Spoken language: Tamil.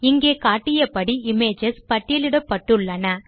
இங்கே காட்டியபடி இமேஜஸ் பட்டியலிடப்பட்டுள்ளன